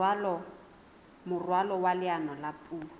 moralo wa leano la puo